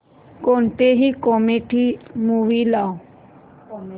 कोणतीही comedy movie लाव